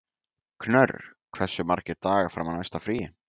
Knörr, hversu margir dagar fram að næsta fríi?